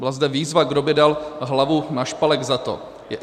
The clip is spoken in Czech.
Byla zde výzva, kdo by dal hlavu na špalek za to.